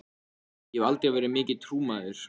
Þú ætlaðir að taka þig á svo að um munaði.